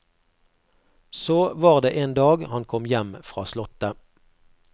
Så var det en dag han kom hjem fra slottet.